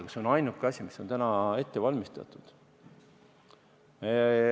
Aga see on ainuke asi, mis on ette valmistatud.